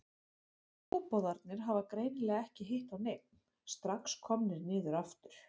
Trúboðarnir hafa greinilega ekki hitt á neinn, strax komnir niður aftur.